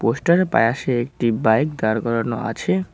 পোস্টারের পায়াসে একটি বাইক দাঁড় করানো আছে।